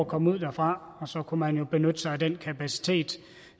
komme ud derfra og så kunne man jo benytte sig af den kapacitet